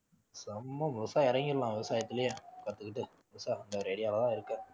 முழுசா இறங்கிடலாம் விவசாயத்திலேயே கத்துக்கிட்டு idea லதான் இருக்கேன்